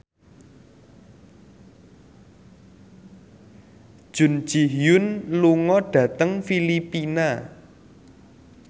Jun Ji Hyun lunga dhateng Filipina